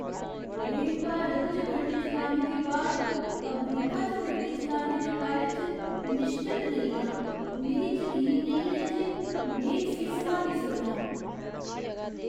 में भारत च गड्डी चलाने दे बाद अमरीका च गड्डी चलाने दे बारे च निश्चत नेईं आं। मिगी जकीन नेईं ऐ जे में इसगी सम्हाली सकनां।